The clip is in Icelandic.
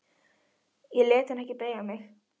Ég lét hann ekki beygja mig.